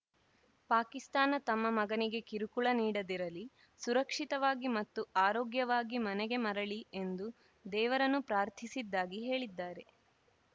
ಪಾಕಿಸ್ತಾನ ತಮ್ಮ ಮಗನಿಗೆ ಕಿರುಕುಳ ನೀಡದಿರಲಿ ಸುರಕ್ಷಿತವಾಗಿ ಮತ್ತು ಆರೋಗ್ಯವಾಗಿ ಮನೆಗೆ ಮರಳಿ ಎಂದು ದೇವರನ್ನು ಪ್ರಾರ್ಥಿಸಿದ್ದಾಗಿ ಹೇಳಿದ್ದಾರೆ